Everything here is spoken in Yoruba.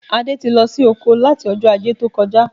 Adé ti lọ oko láti Ọjọ́ Ajé tó kọjá